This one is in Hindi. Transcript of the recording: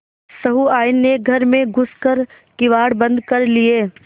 सहुआइन ने घर में घुस कर किवाड़ बंद कर लिये